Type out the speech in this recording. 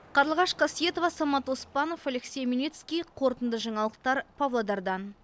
қарлығаш қасиетова самат оспанов алексей омельницкий қорытынды жаңалықтар павлодардан